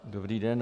Dobrý den.